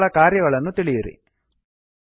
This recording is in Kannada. ಮತ್ತು ಅವುಗಳ ಕಾರ್ಯಗಳನ್ನು ತಿಳಿಯಿರಿ